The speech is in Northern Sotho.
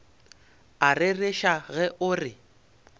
a rereša ge o re